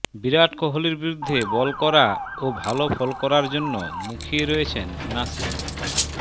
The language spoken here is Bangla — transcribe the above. বিরাট কোহলির বিরুদ্ধে বল করা ও ভাল ফল করার জন্য মুখিয়ে রয়েছেন নাসিম